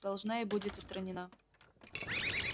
должна и будет устранена